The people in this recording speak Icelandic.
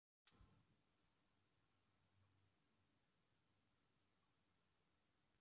Mikill var léttirinn þegar það small í hólkana tvo einsog hönd í hanska.